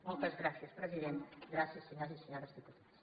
moltes gràcies president gràcies senyores i senyors diputats